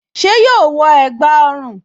Ṣé yóò wọ ẹ̀gbá ọrùn?